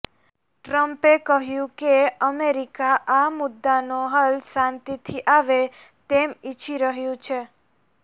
ટ્રમ્પે કહ્યું કે અમેરિકા આ મુદ્દાનો હલ શાંતિથી આવે તેમ ઈચ્છી રહ્યું છે